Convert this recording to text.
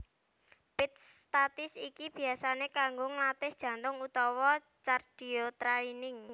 Pit statis iki biasané kanggo nglatih jantung utawa cardiotraining